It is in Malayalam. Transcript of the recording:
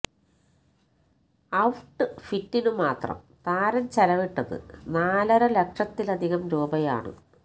ഔട്ട് ഫിറ്റിനു മാത്രം താരം ചെലവിട്ടത് നാലര ലക്ഷത്തിലധികം രൂപയാണ്